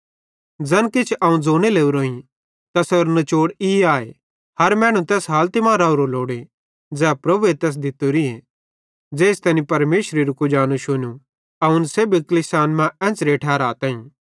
ज़ैन किछ अवं ज़ोने लोरोईं तैसेरो नचोड़ ई आए हर मैनू तैस हालती मां रावरो लोड़े ज़ै प्रभुए तैस दित्तोरीए ज़ेइस तैनी परमेशरेरू कुजानू शुनू अवं इन सेब्भी कलीसियान मां एन्च़रे ठहराताईं